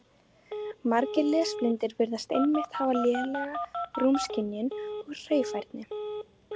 Margir lesblindir virðast einmitt hafa lélega rúmskynjun og hreyfifærni.